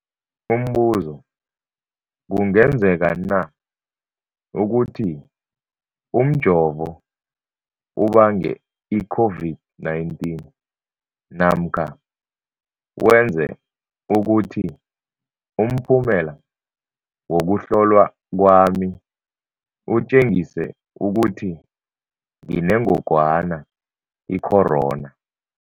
Umbuzo, kungenzekana ukuthi umjovo ubange i-COVID-19 namkha wenze ukuthi umphumela wokuhlolwa kwami utjengise ukuthi nginengogwana i-corona?